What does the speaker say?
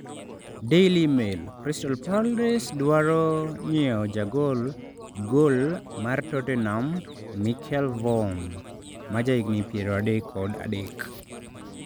(Daily Mail) Crystal Palace dwaro nyiewo jagol gol mar Tottenham Michel Vorm, ma jahigni 33.